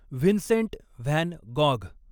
Vincent van Gogh